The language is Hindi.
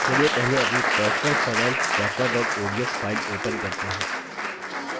चलिए पहले अपनी personalfinancetracker odsफाइल open करते हैं